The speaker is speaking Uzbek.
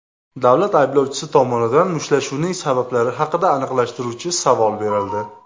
Davlat ayblovchisi tomonidan mushtlashuvning sabablari haqida aniqlashtiruvchi savol berildi.